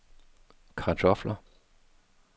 kartofler